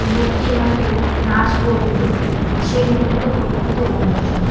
লোকটি হয়তো নাচ করবে সেই মোমেন্ট -এ ফোটো -টা তোলা হয়েছে।